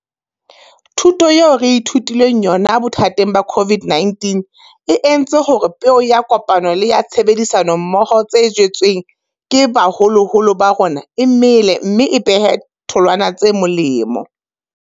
Thuto eo re ithutileng yona bothateng ba COVID-19 e entse hore peo ya kopano le ya tshebedisano mmoho tse jetsweng ke baholoholo ba rona e mele mme e behe tholwana tse molemo.